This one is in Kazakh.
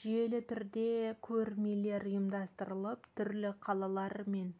жүйелі түрде көрмелер ұйымдастырып түрлі қалалар мен